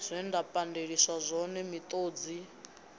zwe nda pandeliswa zwone miṱodzi